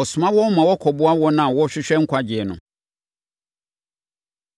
ɔsoma wɔn ma wɔkɔboa wɔn a wɔrehwehwɛ nkwagyeɛ no.